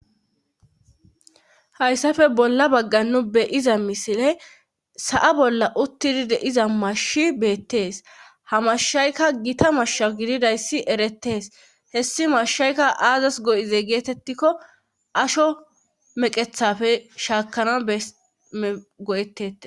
hayssafe bolla baggan nu beyiza misile sa7a bolla uttidide iza mashi beettees hamashshaykka gita mashsha gididayssi eretees hessi mashshaykka aazas go7ize geetettikko asho meqethafe shaakana go7eetete